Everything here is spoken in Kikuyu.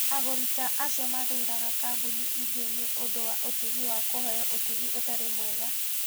Agũri ta acio mathuuraga kambuni ingĩ nĩ ũndũ wa ũtugi wa kũheo ũtugi ũtarĩ mwega.